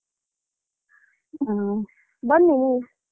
ಹ ಬನ್ನಿ.